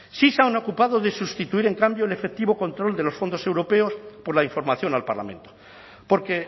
sí se han ocupado de sustituir en cambio el efectivo control de los fondos europeos por la información al parlamento porque